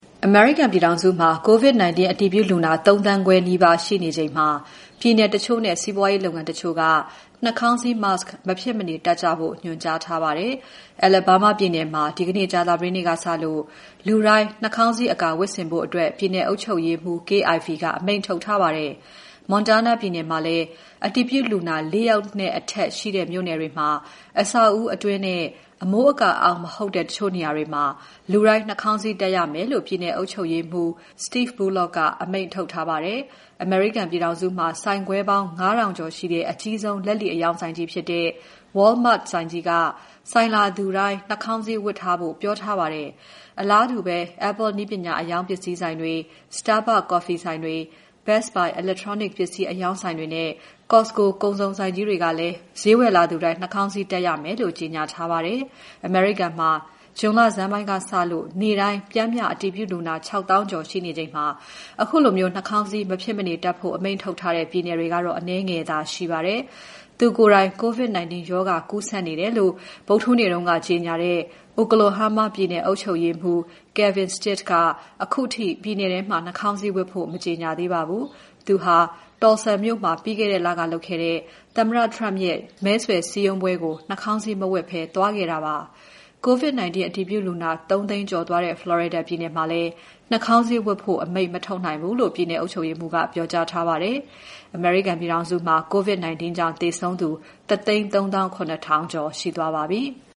အမေရိကန်ပြည်ထောင်စုမှာ COVID-19 အတည်ပြုလူနာ ၃,၅၀၀,၀၀၀ နီးပါးရှိနေချိန်မှာ ပြည်နယ်တချို့နဲ့ စီးပွားရေးလုပ်ငန်းတချို့က နှာခေါင်းစည်း Mask မဖြစ်မနေတပ်ကြဖို့ ညွှန်ကြားထားပါတယ်။ Alabama ပြည်နယ်မှာ ဒီနေ့ကြာသပတေးနေ့ကစလို့ နှာခေါင်းစည်းအကာဝတ်ဆင်ဖို့ ပြည်နယ်အုပ်ချုပ်ရေးမှူး Kay Ivey က အမိန့်ထုတ်ထားပါတယ်။ Montana ပြည်နယ်မှာလည်း အတည်ပြုလူနာ ၄ ယောက်နဲ့ အထက်ရှိတဲ့ မြို့နယ်တွေမှာ အဆောက်အဦးအတွင်းနဲ့ အမိုးအကာအောက် မဟုတ်တဲ့ တချို့နေရာတွေမှာ လူတိုင်းနှာခေါင်းစည်းတပ်ရမယ်လို့ ပြည်နယ်အုပ်ချုပ်ရေးမှူး Steve Bullock အမိန့်ထုတ်ပြန်ထားပါတယ်။ အမေရိကန်ပြည်ထောင်စုမှာ ဆိုင်ခွဲပေါင်း ၅,၀၀၀ ကျော်ရှိတဲ့ အကြီးဆုံး လက်လီအရောင်းဆိုင်ကြီးဖြစ်တဲ့ Walmart က ဆိုင်လာသူတိုင်း နှာခေါင်းစည်းဝတ်ထားဖို့ ပြောထားပါတယ်။ အလားတူ Apple နည်းပညာပစ္စည်းအရောင်းဆိုင်တွေ၊ Starbucks ကော်ဖီဆိုင်တွေ၊ Best Buy electronic ပစ္စည်းအရောင်းဆိုင်တွေနဲ့ Costco ကုန်စုံဆိုင်ကြီးတွေကလည်း ဈေးဝယ်လာသူတိုင်း နှာခေါင်းစည်းတပ်ရမယ်လို့ ကြေညာထားပါတယ်။ အမေရိကန်မှာ ဇွန်လဆန်းပိုင်းထဲကစလို့ နေ့စဉ်ပ ျှမ်းမ ျှ အတည်ပြုလူနာ ၆၀,၀၀၀ ကျော် ရှိနေချိန်မှာ ခုလို နှာခေါင်းစည်း မဖြစ်မနေတပ်ဖို့ အမိန့်ထုတ်တဲ့ ပြည်နယ်တွေကတော့ အနည်းငယ်သာ ရှိနေပါတယ်။ သူကိုယ်တိုင် COVID-19 ရောဂါကူးစက်နေတယ်လို့ ဗုဒ္ဓဟူးနေ့က ကြေညာတဲ့ Oklahoma ပြည်နယ်အုပ်ချုပ်ရေးမှူး Kevin Stitt က ခုထိပြည်နယ်ထဲမှာ နှာခေါင်းစည်းဝတ်ဖို့ မကြေညာပါဘူး။ သူဟာ Tulsa မြို့မှာ ပြီးခဲ့တဲ့လကလုပ်ခဲ့တဲ့ သမ္မတ Trump ရဲ့စည်းရုံးမဲဆွယ်ပွဲကို နှာခေါင်းစည်း မဝတ်ဘဲ သွားခဲ့တာပါ။ COVID-19 အတည်ပြုလူနာ ၃၀၀,၀၀၀ ကျော်သွားတဲ့ Florida ပြည်နယ်မှာလည်း နှာခေါင်စည်းဝတ်ဖို့ အမိန့်မထုတ်နိုင်ဘူးလို့ ပြည်နယ်အုပ်ချုပ်ရေးမှူးက ပြောကြားထားပါတယ်။ အမေရိကန်ပြည်ထောင်စုမှာ COVID-19 ကြောင့် သေဆုံးသူ ၁၃၇,၀၀၀ ကျော် ရှိသွားပါပြီ။